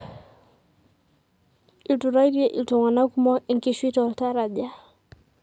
Iturraitie iltunganak kumok enkishui toltaraja.